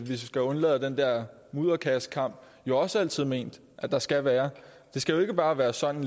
skal undlade den der mudderkastningskamp jo også altid ment at der skal være det skal jo ikke bare være sådan